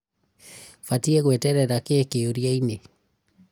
Batiĩ gweterera kĩĩ kĩũriainĩ?